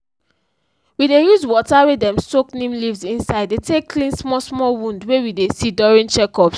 we dey use water wey dem soak neem leaves inside dey take clean small small wound wey we dey see during check ups